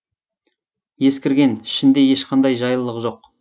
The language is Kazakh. ескірген ішінде ешқандай жайлылық жоқ